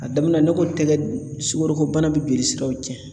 A daminɛ, ne ko tɛgɛ sukorobana birisiraw cɛ.